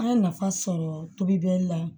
An ye nafa sɔrɔ tobi bɛ la